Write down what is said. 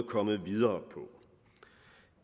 komme videre